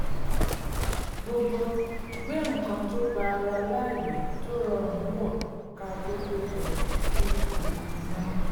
gbogbo gbé nǹkan tó gba ara láàyè tó rọrùn wọ̀ ká tó péjọ sí ibi iná